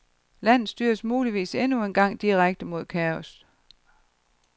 Landet styrer muligvis endnu engang direkte mod kaos.